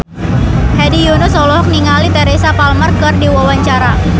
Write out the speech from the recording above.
Hedi Yunus olohok ningali Teresa Palmer keur diwawancara